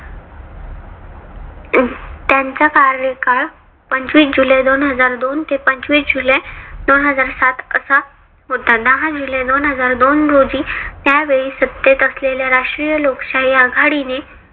त्यांचा कार्यकाळ पंचवीस जुलै दोन हजार दोन ते पंचवीस जुलै दोन हजार सात असा होता. दहा जुलै हजार दोन रोजी त्यावेळी सत्तेत असलेल्या राष्ट्रीय लोकशाही आघाडीने